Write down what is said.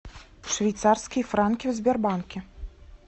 швейцарские франки в сбербанке